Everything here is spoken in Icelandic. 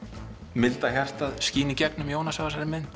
milda hjartað skína í gegnum Jónas á þessari mynd